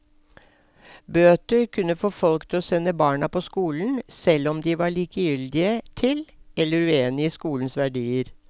Bøter kunne få folk til å sende barna på skolen, selv om de var likegyldige til eller uenige i skolens verdier.